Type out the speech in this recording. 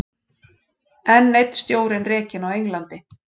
Enn einn stjórinn rekinn á Englandi